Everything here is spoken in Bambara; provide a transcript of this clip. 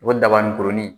O dabani kurunin